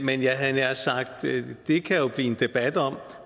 det kan jo blive en debat om